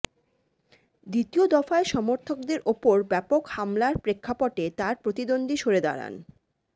দ্বিতীয় দফায় সমর্থকদের ওপর ব্যাপক হামলার প্রেক্ষাপটে তার প্রতিদ্বন্ধী সরে দাঁড়ান